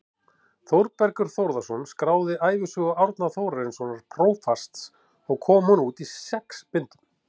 Þórbergur Þórðarson skráði ævisögu Árna Þórarinssonar prófasts og kom hún út í sex bindum.